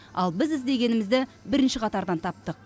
ал біз іздегенімізді бірінші қатардан таптық